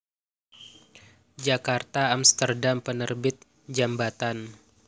Djakarta/Amsterdam Penerbit Djambatan